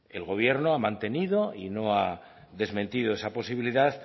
el gobierno ha mantenido y no ha desmentido esa posibilidad